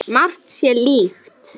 Margt sé líkt.